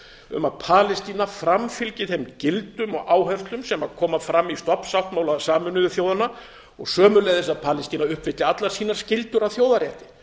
um að palestína framfylgi þeim gildum og áherslum sem koma fram í stofnsáttmála sameinuðu þjóðanna og sömuleiðis að palestína uppfylli allar sínar skyldur að þjóðarrétti